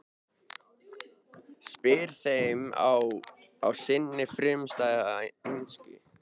spyrja þeir á sinni frumstæðu ensku.